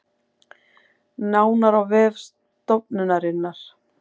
Nánar á vef stofnunarinnar